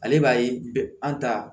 Ale b'a ye an ta